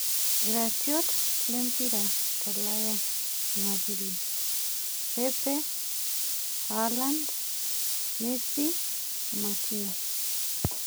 iratiot lempira tolaya Jumapili: pepe, haaland, Messi, Martinez,